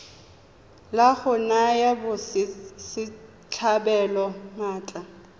la go naya batswasetlhabelo maatla